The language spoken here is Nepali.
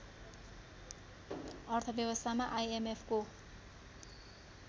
अर्थ व्यवस्थामा आइएमएफको